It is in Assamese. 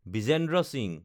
বিজেন্দ্ৰ সিংহ